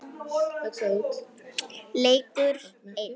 Leikur einn.